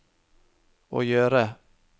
å gjøre